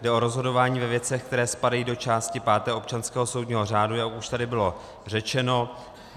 Jde o rozhodování ve věcech, které spadají do části páté občanského soudního řádu, jak už tady bylo řečeno.